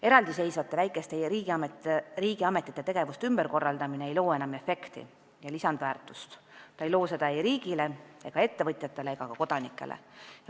Eraldiseisvate väikeste riigiametite tegevuste ümberkorraldamine ei loo enam efekti ja lisandväärtust, ta ei loo seda ei riigile, ettevõtjatele ega ka kodanikele.